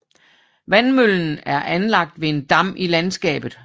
Vandmøllen er anlagt ved en dam i landskabet